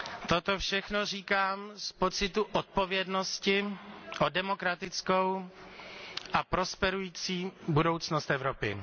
Toto všechno říkám z pocitu odpovědnosti o demokratickou a prosperující budoucnost Evropy.